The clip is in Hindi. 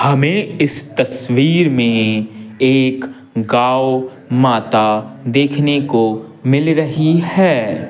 हमें इस तस्वीर में एक गांव माता देखने को मिल रही है।